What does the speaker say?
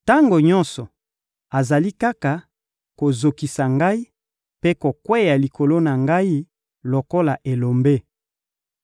Tango nyonso, azali kaka kozokisa ngai mpe kokweya likolo na ngai lokola elombe.